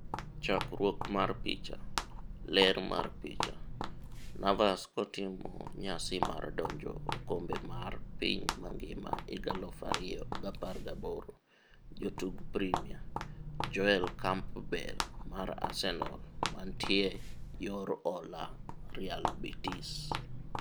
Chakruok mar picha, Getty Images. Ler mar picha, Navas kotimo nyasi mar donje okombe mar piny mangima 2018.Jotug Premia: Joel Campbell mar Arsenal mantie yor hola Real Betis.